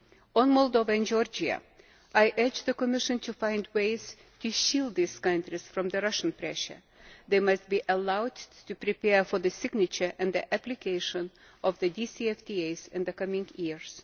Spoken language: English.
On Moldova and Georgia, I urge the Commission to find ways to shield these countries from Russian pressure they must be allowed to prepare for the signature and the application of the DCFTAs in the coming years.